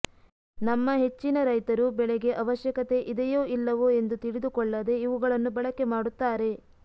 ನಮ್ಮ ಹೆಚ್ಚಿನ ರೈತರು ಬೆಳೆಗೆ ಅವಶ್ಯಕತೆ ಇದೆಯೋ ಇಲ್ಲವೋ ಎಂದು ತಿಳಿದು ಕೊಳ್ಳದೆ ಇವುಗಳನ್ನು ಬಳಕೆ ಮಾಡುತ್ತಾರೆ